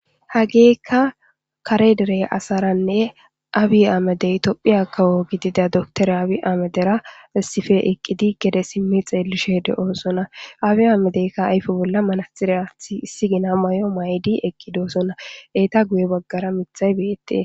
Hageekka kare derey asaranne abi amedey tophiya kawo gidida doktore abi amedera essife eqqidi gede simmi xeelishe de'oosona abi amedeykka ayfe bolla manaxire athi issi gina may'o maydi eqqidoosona eeta guye baggara mithay beyette